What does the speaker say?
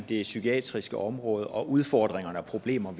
det psykiatriske område og de udfordringer og problemer